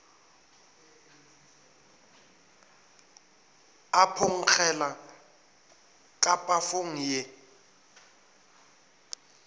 a phonkgela ka pafong ye